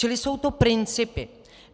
Čili jsou to principy.